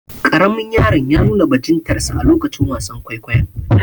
Karamin yaron ya nuna bajintarsa a lokacin wasan kwaikwayon.